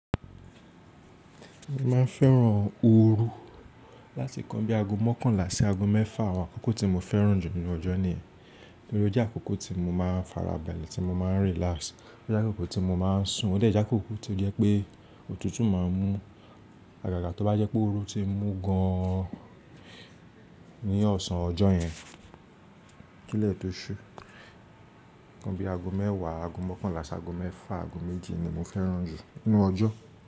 Mo máa ń fẹ́ràn ooru láti kan bíi ago mọ́kànlá sí ago mẹ́fà. Àwọn àkókò tí mo fẹ́ràn jù nínú ọjọ́ ni ẹ. Nítorí ó jẹ́ àkókò tí mo máa ń farabalẹ̀, tí mo máa ń relax. Ó jẹ́ àkókò tí mo máa ń sùn. Ó dẹ̀ jẹ́ àkókò tí ó jẹ́ pé òtútù máa ń mú àgàgà tó bá jẹ́ pé ooru ti mú gan an ní ọ̀sán ọjọ́ yẹn. Kí lẹ́ tó ṣú, kan bí ago mẹ́wàá, ago mọ́kànlá sí ago mẹ́fà, ago méjì ni mo fẹ́ràn jù nínú ọjọ́.